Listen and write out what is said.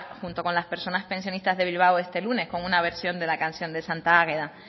junto con las personas pensionistas de bilbao este lunes con una versión de la canción de santa águeda